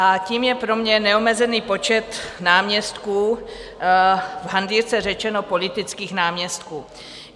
... a tím je pro mě neomezený počet náměstků, v hantýrce řečeno politických náměstků.